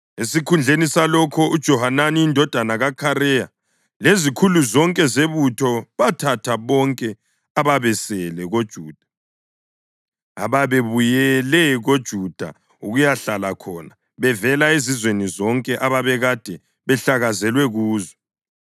Esikhundleni salokho, uJohanani indodana kaKhareya lezikhulu zonke zebutho bathatha bonke ababesele koJuda ababebuyele koJuda ukuyahlala khona bevela ezizweni zonke ababekade behlakazelwe kuzo.